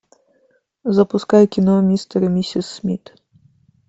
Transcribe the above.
запускай кино мистер и миссис смит